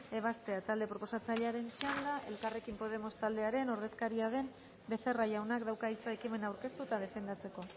ebazpena talde proposatzailearen txanda elkarrekin podemos taldearen ordezkaria den becerra jaunak dauka hitza ekimena aurkeztu eta defendatzeko